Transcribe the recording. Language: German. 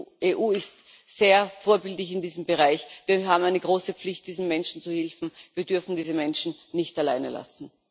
Die EU ist sehr vorbildlich in diesem Bereich. Wir haben eine große Pflicht, diesen Menschen zu helfen. Wir dürfen diese Menschen nicht alleine lassen!